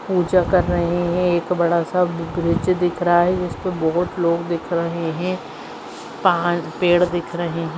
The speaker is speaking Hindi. पूजा कर रहे है एक बड़ा सा ब्रिज दिख रहा है जिसपे बहुत लोग दिख रहे है पहाड़ पेड़ दिख रहे है।